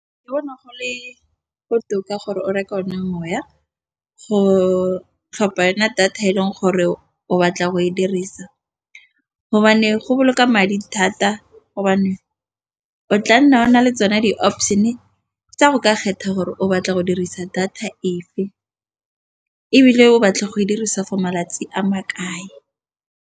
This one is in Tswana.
Ke bona go le botoka gore o reka ona moya go tlhopha yona data e leng gore o batla go e dirisa, gobane go boloka madi thata gobane o tla nna o na le tsone di-option tsa go ka kgetha gore o batla go dirisa data ebile o batla go e dirisa for malatsi a makae.